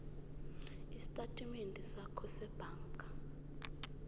estatimendeni sakho sebhanka